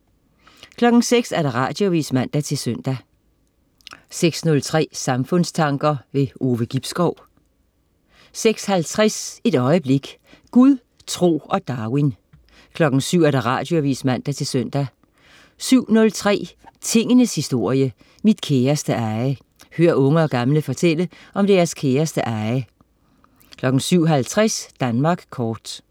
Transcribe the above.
06.00 Radioavis (man-søn) 06.03 Samfundstanker. Ove Gibskov 06.50 Et øjeblik. Gud, tro og Darwin 07.00 Radioavis (man-søn) 07.03 Tingenes historie, mit kæreste eje. Hør unge og gamle fortælle om deres kæreste eje 07.50 Danmark kort